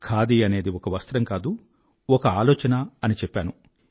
ఖాది అనేది ఒక వస్త్రం కాదు ఒక ఆలోచన అని చెప్పాను